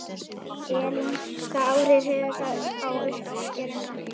Elín: Hvaða áhrif hefur það á uppskeruna?